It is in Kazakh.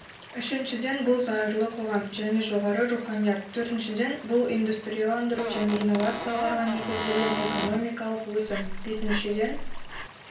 үшіншіден бұл зайырлы қоғам және жоғары руханият төртіншіден бұл индустрияландыру мен инновацияларға негізделген экономикалық өсім бесіншіден